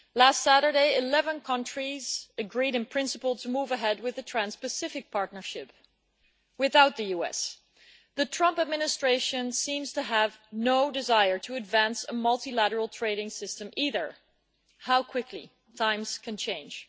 Last Saturday, 11 countries agreed, in principle, to move ahead with the Trans Pacific Partnership, without the US. The Trump Administration seems to have no desire to advance a multilateral trading system either how quickly times can change.